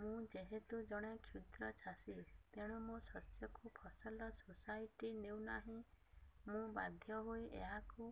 ମୁଁ ଯେହେତୁ ଜଣେ କ୍ଷୁଦ୍ର ଚାଷୀ ତେଣୁ ମୋ ଶସ୍ୟକୁ ଫସଲ ସୋସାଇଟି ନେଉ ନାହିଁ ମୁ ବାଧ୍ୟ ହୋଇ ଏହାକୁ